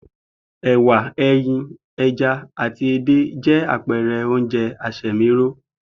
È̩wà, e̩yin, e̩ja àti edé jé̩ àpe̩re̩ oúnje̩ asè̩míró